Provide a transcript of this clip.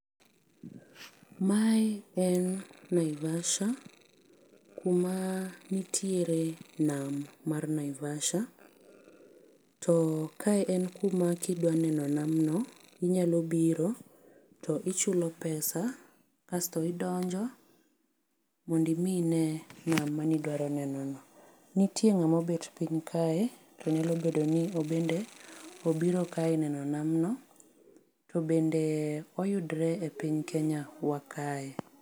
Mae en Naivasha. Kuma nitiere nam mar Naivasha. To kae en kuma kidwa neno nam no inyalo biro to ichulo pesa kasto idonjo mondo imi ine nam mane idwaro neno no. Nitie ng'ama obet piny kae to nyalo bedo ni en bende obiro kae neno namno. To bende oyudore e piny Kenya wa Kae.